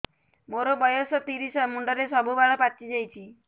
ମୋର ବୟସ ତିରିଶ ମୁଣ୍ଡରେ ସବୁ ବାଳ ପାଚିଯାଇଛି